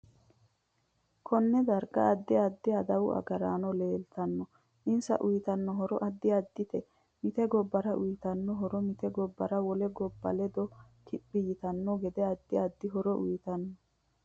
KOnne. darga. addi addi aduwu agarano leeltano insa uyiitanno horo addi addite mite gobbara uyiitanno horo mite gobba wole gobba ledo kiphi yitanoki gede addi addi horo uyiitano